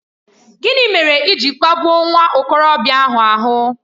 Gịnị mere i ji kpagbuo nwa okorobịa ahụ?